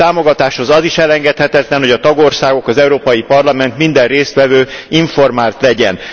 A támogatáshoz az is elengedhetetlen, hogy a tagországok, az Európai Parlament, minden résztvevő informált legyen.